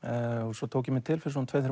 svo tók ég mig til fyrir tveimur